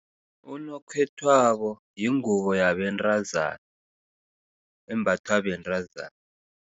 Unokhethwabo yingubo yabentazana, embathwa bentazana.